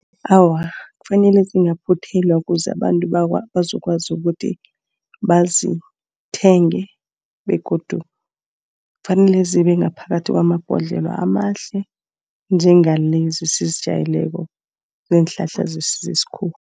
Awa kufanele zingaphuthelwa ukuze abantu bakwazi bazokwazi ukuthi bazithenge begodu kufanele zibe ngaphakathi kwama ibhodlelo amahle njengalezi sizitjalele so ziinhlahla zesintu zesikhuwa.